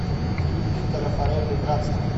фильм питера фарелли братство